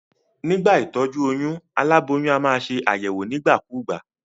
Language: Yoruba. Nígbà ìtójú oyún, aláboyún a maa se àyèwò nígbà kúgbà